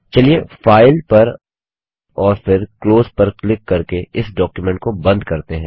चलिए फाइल पर और फिर क्लोज पर क्लिक करके इस डॉक्युमेंट को बंद करते हैं